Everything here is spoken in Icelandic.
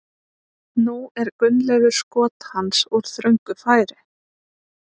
Nú er Gunnleifur skot hans úr þröngu færi.